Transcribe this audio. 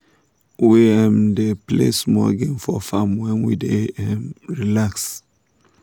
we um dey play small game for farm when we wan um relax.